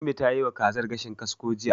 Ummi ta yiwa wa kazar gashin kasko jiya.